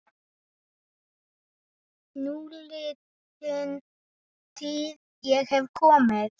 Núliðin tíð- ég hef komið